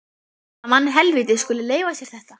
Að mannhelvítið skuli leyfa sér þetta!